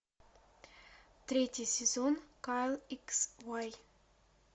третий сезон кайл икс уай